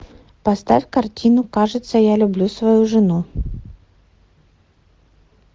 поставь картину кажется я люблю свою жену